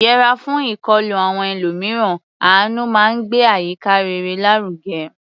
Yẹra fún ìkọlù àwọn ẹlòmíràn; àánú máa ń gbé àyíká rere lárugẹ.